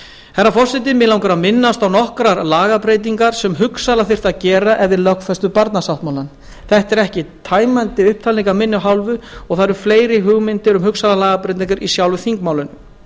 herra forseti mig langar að minnast á nokkrar lagabreytingar sem hugsanlega þyrfti að gera ef við lögfestum barnasáttmálann þetta er ekki tæmandi upptalning af minni hálfu og það eru fleiri hugmyndir um hugsanlegar lagabreytingum í sjálfu þingmálinu